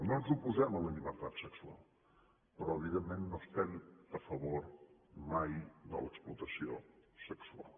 no ens oposem a la llibertat sexual però evidentment no estem a favor mai de l’explotació sexual